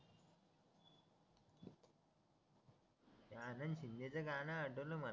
ते आनंद शिंदेच गाणं आठवलं मला